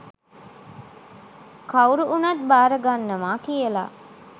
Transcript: කවුරු වුණත් භාර ගන්නවා කියලා.